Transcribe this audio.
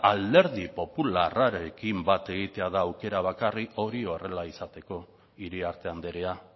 alderdi popularrarekin bat egitea da aukera bakarra hori horrela izateko iriarte andrea